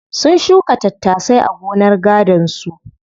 Sun shuka tattasai a gonar gadon su.